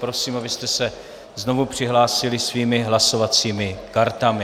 Prosím, abyste se znovu přihlásili svými hlasovacími kartami.